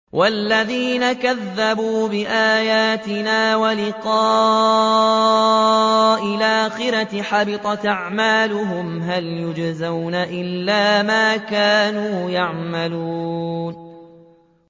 وَالَّذِينَ كَذَّبُوا بِآيَاتِنَا وَلِقَاءِ الْآخِرَةِ حَبِطَتْ أَعْمَالُهُمْ ۚ هَلْ يُجْزَوْنَ إِلَّا مَا كَانُوا يَعْمَلُونَ